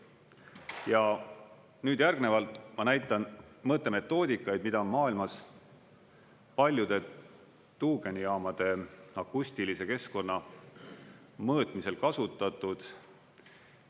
Ja nüüd järgnevalt ma näitan mõõtemetoodikaid, mida on maailmas paljude tuugenijaamade akustilise keskkonna mõõtmisel kasutatud.